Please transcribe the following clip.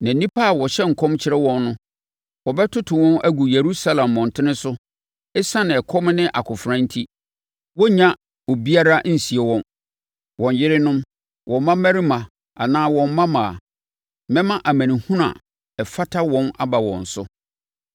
Na nnipa a wɔhyɛ nkɔm kyerɛ wɔn no, wɔbɛtoto wɔn agu Yerusalem mmɔntene so ɛsiane ɛkɔm ne akofena enti. Wɔrenya obiara nsie wɔn, wɔn yerenom, wɔn mmammarima anaa wɔn mmammaa. Mɛma amanehunu a ɛfata wɔn aba wɔn so.